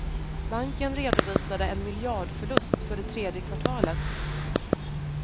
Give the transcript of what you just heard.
Banken redovisade en miljardförlust för det tredje kvartalet.